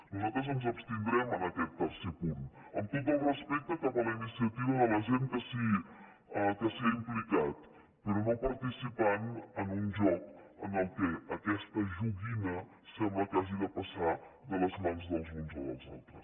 nosaltres ens abstindrem en aquest tercer punt amb tot el respecte cap a la iniciativa de la gent que s’hi ha implicat però no participant en un joc en què aquesta joguina sembla que hagi de passar de les mans dels uns a la dels altres